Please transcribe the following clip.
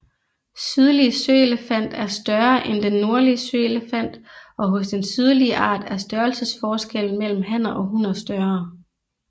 Sydlig søelefant er større end den nordlige søelefant og hos den sydlige art er størrelsesforskellen mellem hanner og hunner større